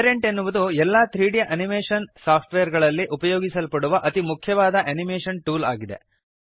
parent ಎನ್ನುವುದು ಎಲ್ಲ 3ದ್ ಅನಿಮೇಶನ್ ಸಾಫ್ಟ್ವೇರ್ ಗಳಲ್ಲಿ ಉಪಯೋಗಿಸಲ್ಪಡುವ ಅತಿ ಮುಖ್ಯವಾದ ಅನಿಮೇಶನ್ ಟೂಲ್ ಆಗಿದೆ